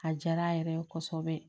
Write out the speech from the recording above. A diyara a yɛrɛ ye kosɛbɛ